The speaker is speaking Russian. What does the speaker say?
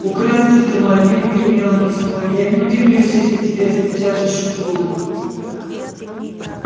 украсть автомобиль гремело письмо я не удивлюсь если тебя исключат из школы